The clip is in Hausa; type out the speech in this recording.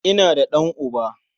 Ina da ɗan'uba.